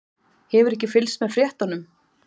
Hefurðu ekki fylgst með fréttunum?